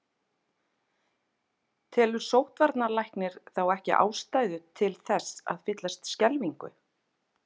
Telur sóttvarnarlæknir þá ekki ástæðu til þess að fyllast skelfingu?